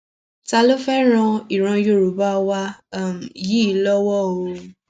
ta ló fẹẹ ran ìran yorùbá wa um yìí lọwọ o